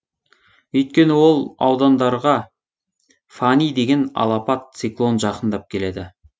өйткені ол аудандарға фани деген алапат циклон жақындап келеді